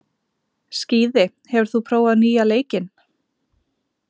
Skíði, hefur þú prófað nýja leikinn?